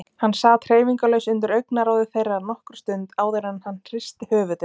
Hann sat hreyfingarlaus undir augnaráði þeirra nokkra stund áður en hann hristi höfuðið.